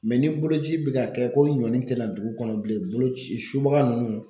Mɛ ni boloci bɛ ka kɛ ko ɲɔni tɛna dugu kɔnɔ bilen bolo ci subaga ninnu